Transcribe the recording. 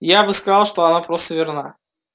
я бы сказал что она просто верна